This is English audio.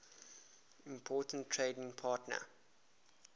important trading partner